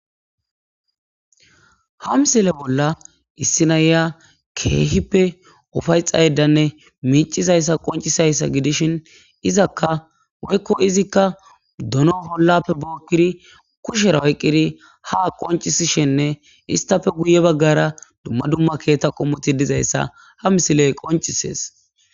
Ha missile bolla issi nayiya kehippe ufayetayiddanne micizayissa qoniccisizayissa gidishini izaka woyiko izikka donno olape bokiri kushera oyiqiri ha qoncisishenne intappe guye baggara duma duma kethati dizayissa ha misileyi qonicisesi